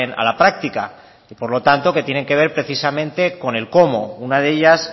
a la práctica y por lo tanto que tienen que ver precisamente con el cómo una de ellas